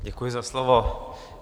Děkuji za slovo.